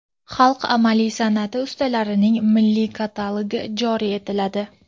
"Xalq amaliy sanʼati ustalarining milliy katalogi" joriy etiladi;.